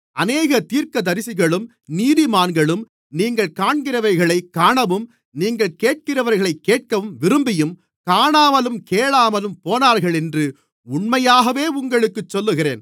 அநேக தீர்க்கதரிசிகளும் நீதிமான்களும் நீங்கள் காண்கிறவைகளைக் காணவும் நீங்கள் கேட்கிறவைகளைக் கேட்கவும் விரும்பியும் காணாமலும் கேளாமலும் போனார்களென்று உண்மையாகவே உங்களுக்குச் சொல்லுகிறேன்